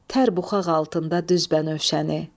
Tər buxaq altında düz bənövşəni.